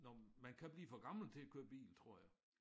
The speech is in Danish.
Når man kan blive for gammel til at køre bil tror jeg